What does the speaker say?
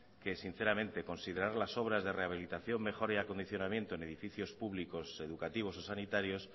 que sinceramente considerar las obras de rehabilitación mejoría y acondicionamiento en edificios públicos educativos o sanitarios